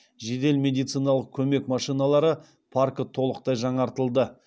жедел медициналық көмек машиналары паркі толықтай жаңартылды